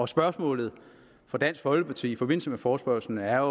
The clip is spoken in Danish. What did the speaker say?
spørgsmålet fra dansk folkeparti i forbindelse med forespørgslen er